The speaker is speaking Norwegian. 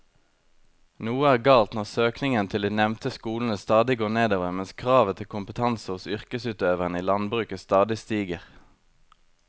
Noe er galt når søkningen til de nevnte skolene stadig går nedover mens kravet til kompetanse hos yrkesutøverne i landbruket stadig stiger.